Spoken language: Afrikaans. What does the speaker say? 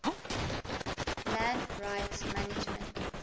land rights management